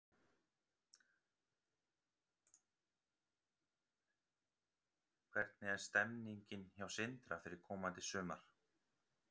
Hvernig er stemmingin hjá Sindra fyrir komandi sumar?